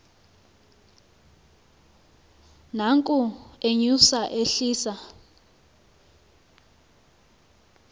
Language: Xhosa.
nanko enyusa ehlisa